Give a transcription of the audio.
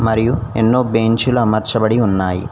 మరియు ఎన్నో బెంచీలు అమర్చబడి ఉన్నాయి.